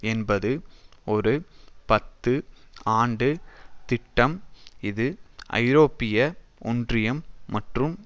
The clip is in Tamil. என்பது ஒரு பத்து ஆண்டு திட்டம் இது ஐரோப்பிய ஒன்றியம் மற்றும்